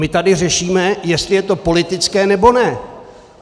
My tady řešíme, jestli je to politické, nebo ne.